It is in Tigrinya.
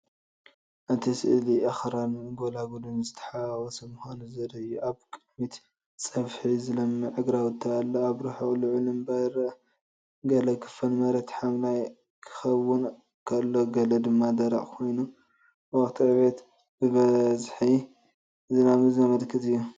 እቲ ስእሊ ኣኽራንን ጎላጉልን ዝተሓዋወሰ ምዃኑ ዘርኢ እዩ። ኣብ ቅድሚት ጽፍሒ ዝለምዕ ግራውቲ ኣሎ፣ ኣብ ርሑቕ ልዑል እምባ ይርአ። ገለ ክፋል መሬት ሓምላይ ክኸውን ከሎ ገለ ድማ ደረቕ ኮይኑ፡ ወቕቲ ዕብየትን ብዝሒ ዝናብን ዘመልክት እዩ።